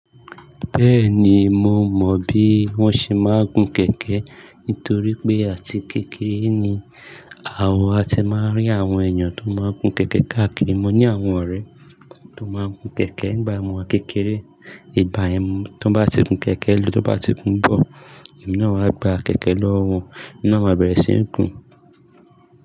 Bẹ́ẹ̀ni mo mọ̀ bí wọ́n ṣe máa ń gun kẹ̀kẹ́ nítorí pé àti kékeré ni àwa a ti máa ń rí àwọn èèyàn tó máa ń gun kẹ̀kẹ́ káàkiri. Mo ní àwọn ọ̀rẹ́ tó máa ń gun kẹ̀kẹ́ nígbà ọmọ kékeré. Ìbá ẹmu, tó bá ti gun kẹ̀kẹ́ lò tó bá ti kún bọ̀, ìmú náà wá gba kẹ̀kẹ́ lọ́wọ́, ìmú náà wá bẹ̀rẹ̀ sí ní gun.